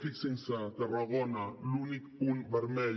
fixin se tarragona l’únic punt vermell